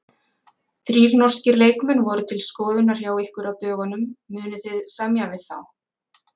Þrír norskir leikmenn voru til skoðunar hjá ykkur á dögunum, munið þið semja við þá?